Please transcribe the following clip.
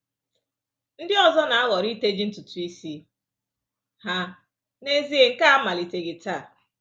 Ndị ọzọ na-ahọrọ iteji ntutu isi ha; n’ezie nke a amaliteghị taa.